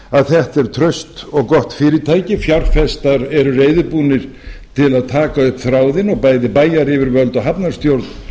að þetta er traust og gott fyrirtæki fjárfestar eru reiðubúnir til að taka upp þráðinn og bæði bæjaryfirvöld og hafnarstjórn